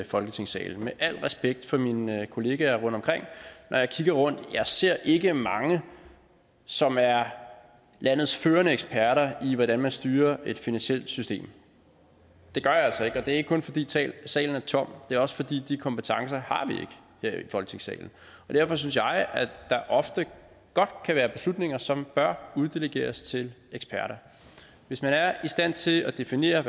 folketingssalen med al respekt for mine kolleger rundtomkring når jeg kigger rundt ser jeg ikke mange som er landets førende eksperter i hvordan man styrer et finansielt system det gør jeg altså ikke og det er ikke kun fordi salen er tom det er også fordi de kompetencer her i folketingssalen derfor synes jeg at der ofte godt kan være beslutninger som bør uddelegeres til eksperter hvis man er i stand til at definere